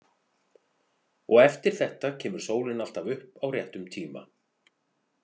Og eftir þetta kemur sólin alltaf upp á réttum tíma.